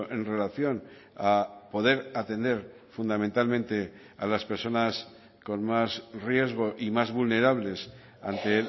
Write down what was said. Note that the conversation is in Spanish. en relación a poder atender fundamentalmente a las personas con más riesgo y más vulnerables ante